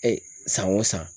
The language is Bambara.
san o san